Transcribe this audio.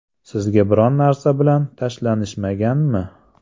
Sizga biron narsa bilan tashlanishmaganmi?